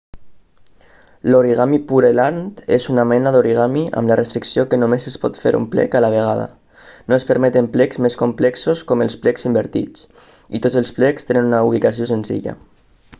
l'origami pureland és una mena d'origami amb la restricció que només es pot fer un plec a la vegada no es permeten plecs més complexos com els plecs invertits i tots els plecs tenen una ubicació senzilla